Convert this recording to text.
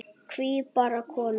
Hví bara konur?